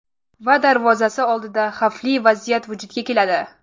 Va darvozasi oldida xavfli vaziyat vujudga keladi.